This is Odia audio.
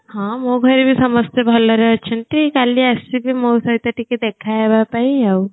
ହଁ ମୋ ଘରେ ଭି ସମସ୍ତେ ଭଲରେ ଅଛନ୍ତି କାଲି ଆସିବେ ମୋ ସହିତ ଟିକିଏ ଦେଖା ହେବା ପାଇଁ ଆଉ